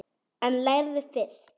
En lærðu fyrst.